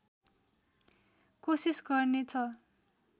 कोशिश गर्ने छ